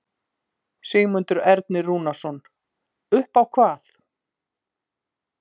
Sigmundur Ernir Rúnarsson: Upp á hvað?